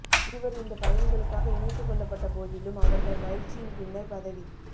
இருவர் இந்தப் பதவிகளுக்காக இணைத்துக் கொள்ளப்பட்ட போதிலும் அவர்கள் பயிற்சியின் பின்னர் பதவி